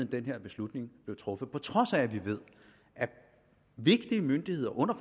den her beslutning blev truffet på trods af at vi ved at vigtige myndigheder under